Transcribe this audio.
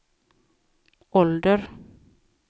ålder